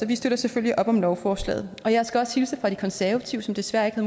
vi støtter selvfølgelig op om lovforslaget jeg skal også hilse fra de konservative som desværre ikke har